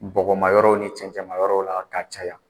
Bɔgɔma yɔrɔw ni cɛncɛma yɔrɔw la ka caya.